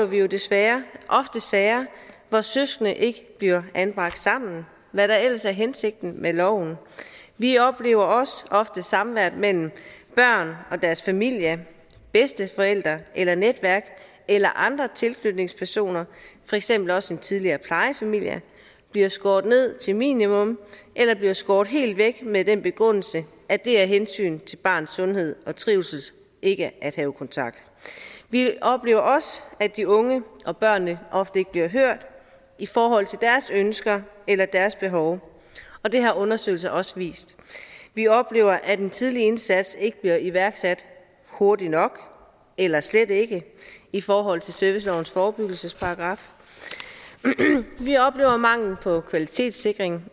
vi jo desværre ofte sager hvor søskende ikke bliver anbragt sammen hvad der ellers er hensigten med loven vi oplever også ofte at samværet mellem børn og deres familie bedsteforældre eller netværk eller andre tilknytningspersoner for eksempel også en tidligere plejefamilie bliver skåret ned til et minimum eller bliver skåret helt væk med den begrundelse at det er af hensyn til barnets sundhed og trivsel ikke at have kontakt vi oplever også at de unge og børnene ofte ikke bliver hørt i forhold til deres ønsker eller deres behov og det har undersøgelser også vist vi oplever at en tidlig indsats ikke bliver iværksat hurtigt nok eller slet ikke i forhold til servicelovens forebyggelsesparagraf vi oplever mangel på kvalitetssikring